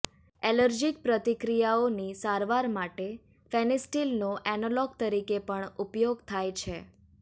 allergic પ્રતિક્રિયાઓની સારવાર માટે ફેનીસ્ટિલનો એનાલોગ તરીકે પણ ઉપયોગ થાય છે